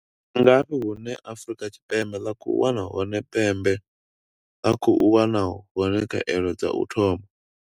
Ndi ngafhi hune Afrika Tshipembe ḽa khou wana hone pembe ḽa khou wana hone khaelo dza u thoma?